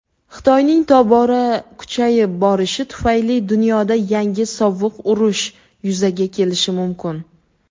Xitoyning tobora kuchayib borishi tufayli dunyoda yangi "Sovuq urush" yuzaga kelishi mumkin.